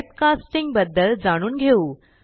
typecasting बद्दल जाणून घेऊ